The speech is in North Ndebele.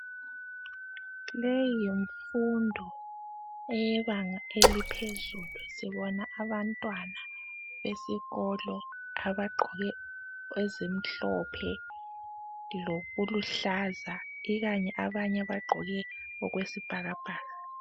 Leyi yimfundo eyebanga eliphezulu, sibona abantwana besikolo abagqoke ezimhlophe lokuluhlaza ikanye abanye bagqoke okwesibhakabhaka.